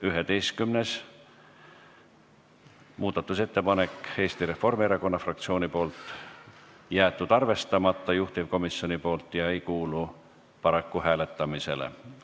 11. muudatusettepanek on Eesti Reformierakonna fraktsioonilt, jäetud arvestamata juhtivkomisjoni poolt ega kuulu paraku hääletamisele.